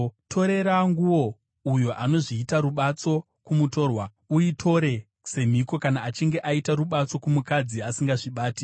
Torera nguo uyo anozviita rubatso kumutorwa; uitore semhiko kana achinge aiita rubatso kumukadzi asingazvibati.